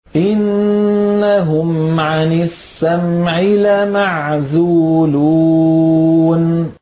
إِنَّهُمْ عَنِ السَّمْعِ لَمَعْزُولُونَ